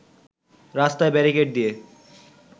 রাস্তায় ব্যারিকেড দিয়ে